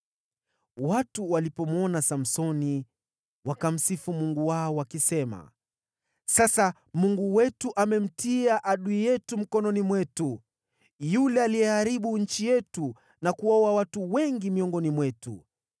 Watu walipomwona Samsoni wakamsifu mungu wao, wakisema: “Sasa mungu wetu amemtia adui yetu mikononi mwetu, yule aliyeharibu nchi yetu na kuwaua watu wengi miongoni mwetu.”